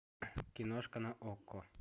киношка на окко